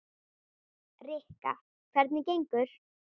Rikka, hvernig gengur?